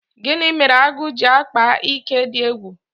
Gini mere agụ ji akpa ike dị egwu?